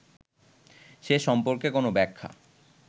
সে সম্পর্কে কোন ব্যাখ্যা